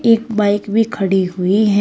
एक बाइक भी खड़ी हुई है।